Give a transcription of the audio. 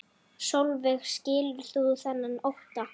Sólveig: Skilur þú þennan ótta?